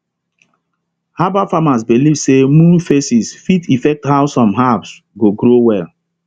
herbal farmers believe say moon phases fit effect how some herbs go grow well